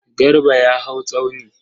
Garba ya hau tsauni.